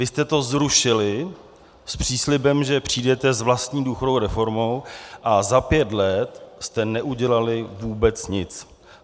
Vy jste to zrušili s příslibem, že přijdete s vlastní důchodovou reformou, a za pět let jste neudělali vůbec nic.